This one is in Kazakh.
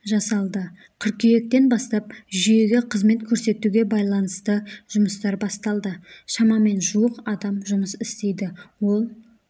жасалды қыркүйектен бастап жүйеге қызмет көрсетуге байланысты жұмыстар басталды шамамен жуық адам жұмыс істейді ол